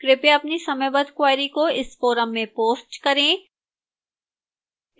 कृपया अपनी समयबद्ध queries को इस forum में post करें